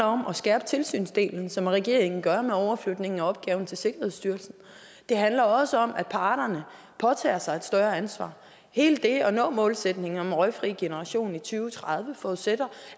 om at skærpe tilsynsdelen som er det regeringen gør med overflytningen af opgaven til sikkerhedsstyrelsen det handler også om at parterne påtager sig et større ansvar hele det at nå målsætningen om en røgfri generation i to tredive forudsætter